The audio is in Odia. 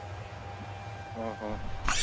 ଓହୋ।